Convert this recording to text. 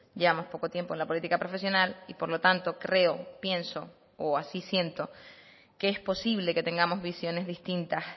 llevamos poco tiempo en la política profesional y por lo tanto creo pienso o así siento que es posible que tengamos visiones distintas